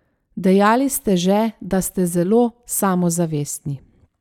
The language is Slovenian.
Dejali ste že, da ste zelo samozavestni.